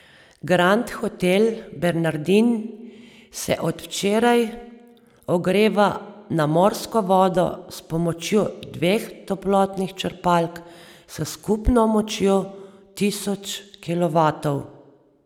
Grand hotel Bernardin se od včeraj ogreva na morsko vodo s pomočjo dveh toplotnih črpalk s skupno močjo tisoč kilovatov.